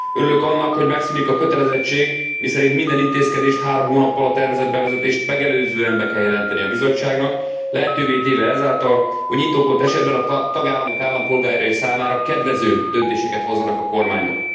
Örülök annak, hogy megszűnik a kötelezettség, miszerint minden intézkedést három hónappal a tervezett bevezetést megelőzően be kell jelenteni a Bizottságnak, lehetővé téve ezáltal, hogy indokolt esetben a tagállamok állampolgárai számára kedvező döntéseket hozzanak a kormányok.